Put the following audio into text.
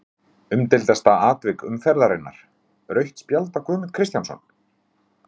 Umdeildasta atvik umferðarinnar: Rautt spjald á Guðmund Kristjánsson?